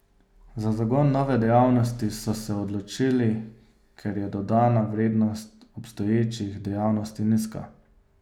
Za zagon nove dejavnosti so se odločili, ker je dodana vrednost obstoječih dejavnosti nizka.